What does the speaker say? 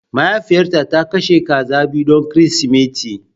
Mahaifiyata ta kashe kaza biyu don Kirsimeti